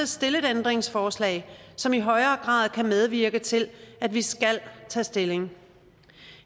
stille et ændringsforslag som i højere grad kan medvirke til at vi skal tage stilling